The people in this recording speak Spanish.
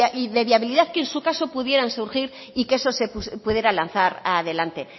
de viabilidad que en su caso pudieran surgir y que eso se pudiera lanzar adelante